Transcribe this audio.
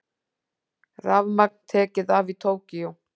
Rafmagn tekið af í Tókýó